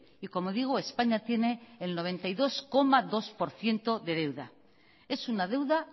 y como digo españa tiene el noventa y dos coma dos por ciento de deuda es una deuda